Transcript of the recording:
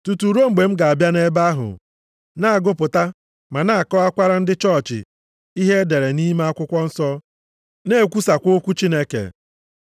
Tutu ruo mgbe m ga-abịa nʼebe ahụ, na-agụpụta ma na-akọwakwara ndị chọọchị ihe e dere nʼime akwụkwọ nsọ. Na-ekwusakwa okwu Chineke.